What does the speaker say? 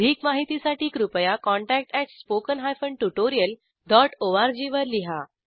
अधिक माहितीसाठी कृपया contactspoken tutorialorg वर लिहा